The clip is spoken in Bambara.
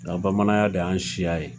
Nka bamananya de y'an siya ye